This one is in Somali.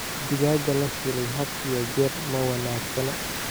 Digaagga la shiilay had iyo jeer ma wanaagsana.